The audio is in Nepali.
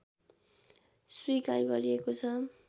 स्वीकार गरिएको छ